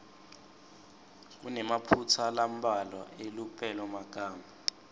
kunemaphutsa lambalwa elupelomagama